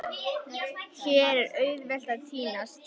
Hér er auðvelt að týnast.